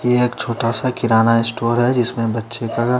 ये एक छोटा सा किराना स्टोर है जिसमे बच्चे का --